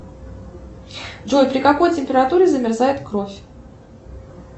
джой при какой температуре замерзает кровь